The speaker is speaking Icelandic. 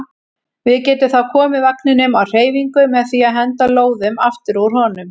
Við getum þá komið vagninum á hreyfingu með því að henda lóðum aftur úr honum.